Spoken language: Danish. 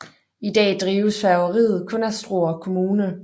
I dag drives færgeriet kun af Struer Kommune